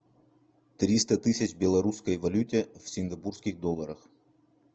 триста тысяч в белорусской валюте в сингапурских долларах